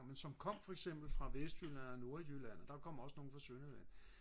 som kom for eksempel fra vestjylland, nordjylland og der kom også nogle fra sønderjylland